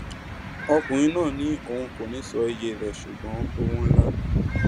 ọkùnrin náà ni òun kò ní í sọ iye rẹ ṣùgbọn owó ńlá ni